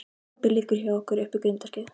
Pabbi liggur hjá okkur upp við grindverkið.